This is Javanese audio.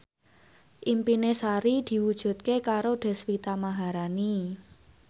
impine Sari diwujudke karo Deswita Maharani